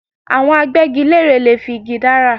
Àwọn Agbẹ́gilére lè fi igi dára